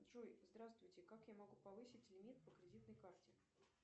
джой здравствуйте как я могу повысить лимит по кредитной карте